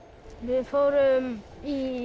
við fórum í